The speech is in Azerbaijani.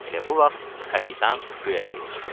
Elə bu vaxt kapitan göyərtəyə çıxdı.